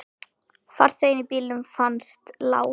Farþegi í bílnum fannst látinn.